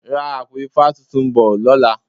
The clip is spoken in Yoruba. Ra àpò ifá tuntun bò lọ́la.